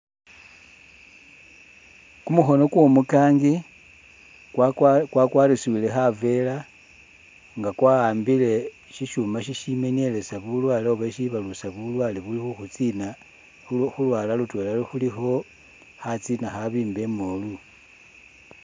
Kumukhono kwo umukangi kwakwarisibile khaveera nga kwawambile shishuuma ishimenyeleza bulwaale oba isibalusa bulwaalwe ubukhutsiina, khulwaala lutweela khulikho khatsina akhabiimba imoolu.